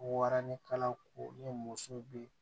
Waranikalako ni muso bɛ